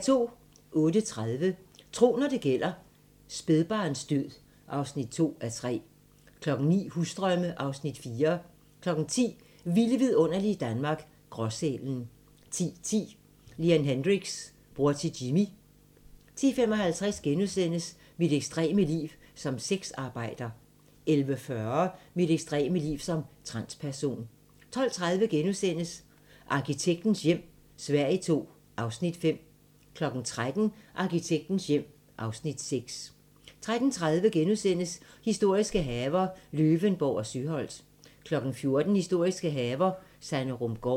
08:30: Tro, når det gælder: Spædbarnsdød (2:3) 09:00: Husdrømme (Afs. 4) 10:00: Vilde vidunderlige Danmark - Gråsælen 10:10: Leon Hendrix - bror til Jimi 10:55: Mit ekstreme liv som sexarbejder * 11:40: Mit ekstreme liv som transperson 12:30: Arkitektens hjem - Sverige II (Afs. 5)* 13:00: Arkitektens hjem (Afs. 6) 13:30: Historiske haver - Løvenborg og Søholt * 14:00: Historiske haver - Sanderumgaard